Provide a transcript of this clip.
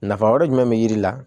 Nafa wɛrɛ jumɛn be yiri la